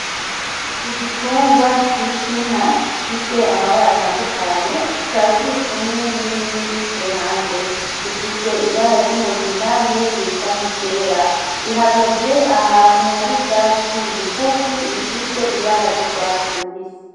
Igitungwa citwa inka gifise amabara atandukanye kikaba kirikumwe nibindi kuruhande, ifise ibara ry'umugina niyindi isa nki ryera. Rihagaze ahantu hari ivyatsi bigufi bifise ibara ry'urwatsi rubisi.